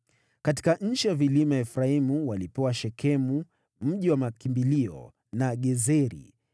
Katika nchi ya vilima ya Efraimu walipewa Shekemu (mji wa makimbilio) na Gezeri,